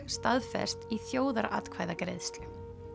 staðfest í þjóðaratkvæðagreiðslu